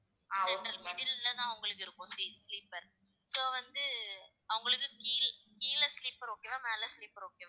அஹ் okay mam தான் இருக்கும் உங்களுக்கு இருக்கும் seat sleeper so வந்து அவங்களுக்கு கீழ் கீழல sleeper okay வா மேல sleeper okay வா